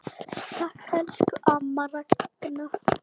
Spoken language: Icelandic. Takk, elsku amma Ragna.